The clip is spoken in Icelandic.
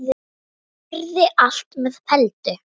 Verði allt með felldu.